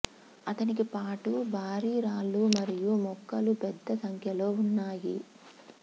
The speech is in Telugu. అతనికి పాటు భారీ రాళ్ళు మరియు మొక్కలు పెద్ద సంఖ్యలో ఉన్నాయి